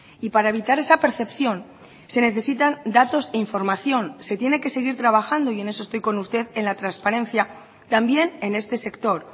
y para evitar esa percepción se necesitan datos e información se tiene que seguir trabajando y en eso estoy con usted en la transparencia también en este sector